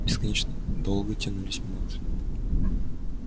бесконечно долго тянулись минуты